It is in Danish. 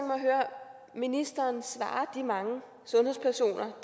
at høre ministeren svare de mange sundhedspersoner